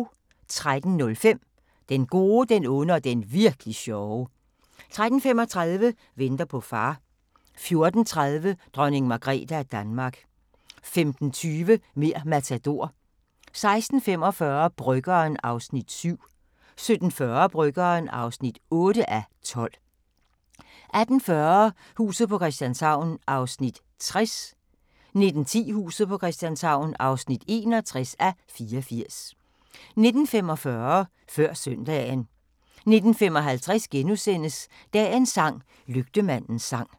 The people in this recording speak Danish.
13:05: Den gode, den onde og den virk'li sjove 13:35: Venter på far 14:30: Dronning Margrethe af Danmark 15:20: Mer' Matador 16:45: Bryggeren (7:12) 17:40: Bryggeren (8:12) 18:40: Huset på Christianshavn (60:84) 19:10: Huset på Christianshavn (61:84) 19:45: Før søndagen 19:55: Dagens sang: Lygtemandens sang *